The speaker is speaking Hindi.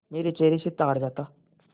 मेरे चेहरे से ताड़ जाता